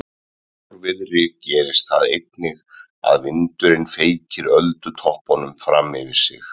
Í fárviðri gerist það einnig að vindurinn feykir öldutoppnum fram yfir sig.